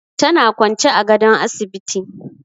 Tana kwance a gadon asibiti.